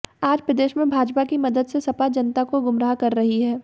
आज प्रदेश में भाजपा की मदद से सपा जनता को गुमराह कर रही है